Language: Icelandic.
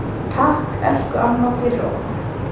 Takk, elsku amma, fyrir okkur.